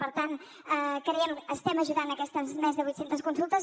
per tant creiem que estem ajudant aquestes més de vuit centes consultes